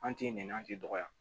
An ti nɛni an tɛ dɔgɔya